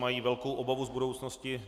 Mají velkou obavu z budoucnosti.